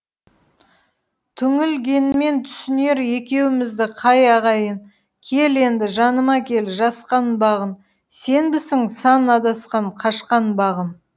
түңілгенмен түсінер екеумізді қай ағайын кел енді жаныма кел жасқанбағын сенбісің сан адасқан қашқан бағым